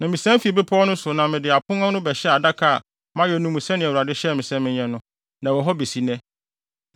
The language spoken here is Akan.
Na misan fii bepɔw no so na mede abo apon no bɛhyɛɛ adaka a mayɛ no mu sɛnea Awurade hyɛɛ me sɛ menyɛ no, na ɛwɔ hɔ besi nnɛ.